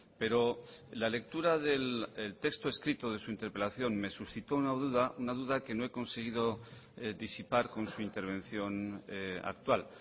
pero la lectura del texto escrito de su interpelación me suscitó una duda una duda que no he conseguido disipar con su intervención actual